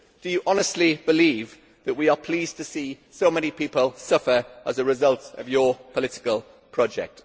Do you honestly believe that we are pleased to see so many people suffer as a result of your political project?